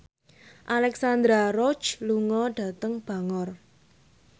Alexandra Roach lunga dhateng Bangor